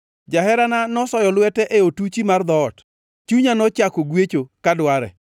Jaherana nosoyo lwete e otuchi mar dhoot; chunya nochako gwecho ka dware.